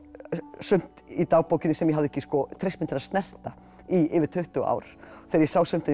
sumt í dagbókinni sem ég hafði ekki treyst mér til að snerta í yfir tuttugu ár þegar ég sá sumt í